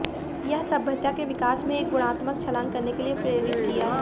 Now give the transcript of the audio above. यह सभ्यता के विकास में एक गुणात्मक छलांग करने के लिए प्रेरित किया है